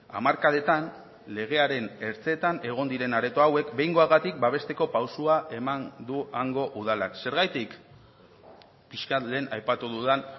hamarkadetan legearen ertzetan egon diren areto hauek behingoagatik babesteko pausoa eman du hango udalak zergatik pixkat lehen aipatu dudan